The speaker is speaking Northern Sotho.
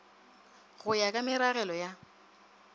go ya ka meragelo ya